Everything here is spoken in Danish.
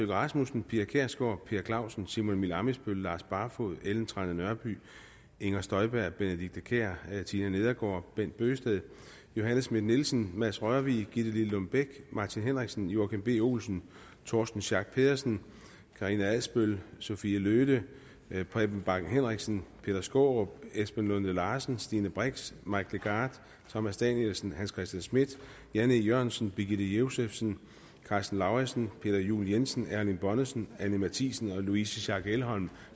rasmussen pia kjærsgaard per clausen simon emil ammitzbøll lars barfoed ellen trane nørby inger støjberg benedikte kiær tina nedergaard bent bøgsted johanne schmidt nielsen mads rørvig gitte lillelund bech martin henriksen joachim b olsen torsten schack pedersen karina adsbøl sophie løhde preben bang henriksen peter skaarup esben lunde larsen stine brix mike legarth thomas danielsen hans christian schmidt jan e jørgensen birgitte josefsen karsten lauritzen peter juel jensen erling bonnesen anni matthiesen og louise schack elholm